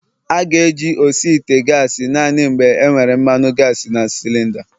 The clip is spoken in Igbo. A ga-eji osi ite gasi naanị mgbe enwere mmanu gasi na cilinda